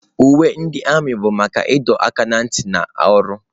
Uwe ndị armiị bụ maka ịdọ aka ná ntị na ọrụ.